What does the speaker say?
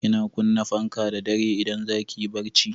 Kina kunna fanka da dare idan za ki yi barci?